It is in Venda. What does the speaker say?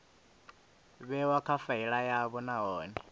vhewa kha faili yavho nahone